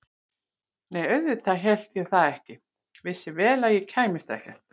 Nei auðvitað hélt ég það ekki, vissi vel að ég kæmist ekkert.